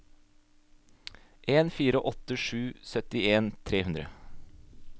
en fire åtte sju syttien tre hundre